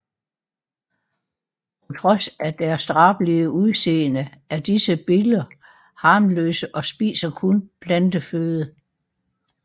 På trods af deres drabelige udseende er disse biller harmløse og spiser kun planteføde